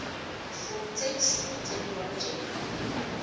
for text technology